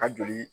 A joli